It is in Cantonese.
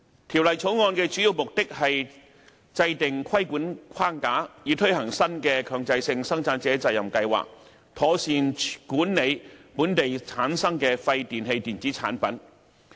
《條例草案》的主要目的是制訂規管框架，以推行新的強制性生產者責任計劃，妥善管理本地產生的廢電器電子產品。